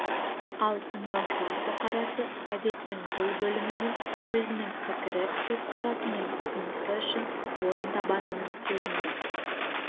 ал тыңдаушылар бұқарасы газеттің бұл бөлімінен өзінің пікірі көзқарасы мен ұсынысы үшін орын табатынын сезінді